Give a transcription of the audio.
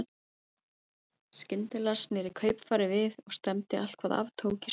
Skyndilega sneri kaupfarið við og stefndi allt hvað af tók í suður.